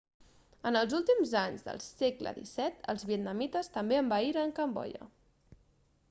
en els últims anys del segle xviii els vietnamites també envaïren cambodja